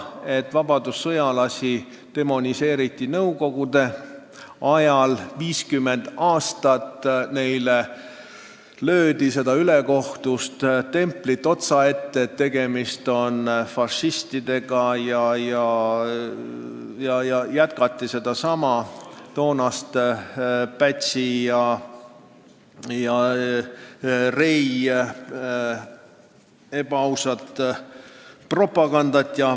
Vabadussõjalasi demoniseeriti nõukogude ajal 50 aastat, neile löödi otsaette ülekohtune tempel, et tegemist on fašistidega, ja jätkati Pätsi ja Rei valelikku propagandat.